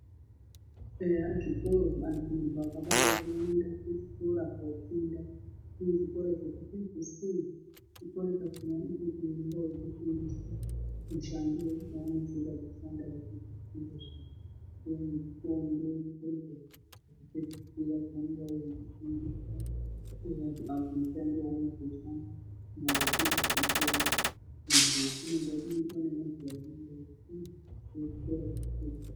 Eyaa zvikoro mundu akabarwa unoende kuzvikora kundofunda kune chikora chekupedzisira chikora ichoo chekuti unenge weyitofundiswe mushando wanenge weyida kuzoshanda wapedza chikora zviya woende kuchikora chekupedzisira kunofunda mushando waunozoshanda wapedza chikora.